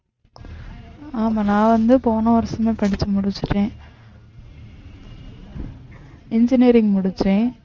ஆமா நான் வந்து போன வருஷமே படிச்சு முடிச்சுட்டேன் engineering முடிச்சேன்